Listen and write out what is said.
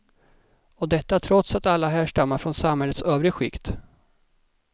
Och detta trots att alla härstammar från samhällets övre skikt.